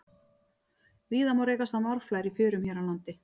Víða má rekast á marflær í fjörum hér á landi.